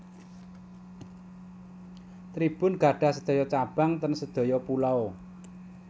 Tribun gadhah sedoyo cabang ten sedoyo pulau